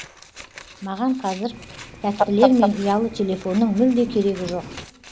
маған қазір тәттілер мен ұялы телефонның мүлде керегі жоқ